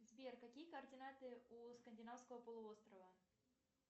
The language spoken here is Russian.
сбер какие координаты у скандинавского полуострова